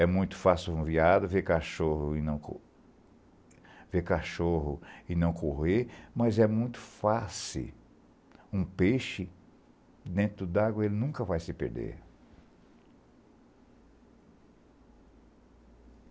É muito fácil um veado ver cachorro e não correr, mas é muito fácil um peixe dentro d'água, ele nunca vai se perder.